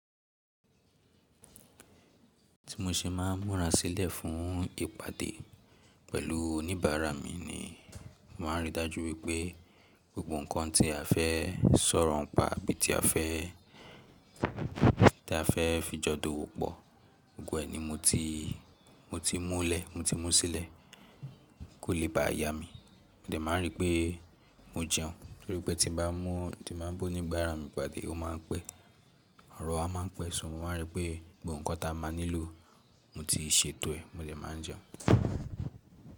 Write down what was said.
Tí mo ṣe máa ń múra sílẹ̀ fún ìpàdé pẹ̀lú oníbàárà mi ni, màá rí dájú wípé gbogbo ǹkan tí a fẹ́ sọ̀rọ̀ ǹ pa àbí ti a fẹ́, tí a fẹ́ fi jọdọ wò pọ̀, gbogbo ẹni mo ti, mo ti múlẹ̀, mo ti mú sílẹ̀ kó lè báa yami. Mo dẹ̀ máa ń rí pé mo jẹun, torí pé tí bá mú, tí mo bá oníbàárà mi pàdé, ó máa ń pẹ́, ọ̀rọ̀ a máa ń pẹ́, ṣo mo ma ń rí pé gbogbo ǹkan ta a máa nílò mo ti ṣètò ẹ̀, mo dẹ̀ máa ń jẹun.